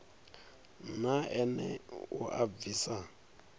na ene u a bvisa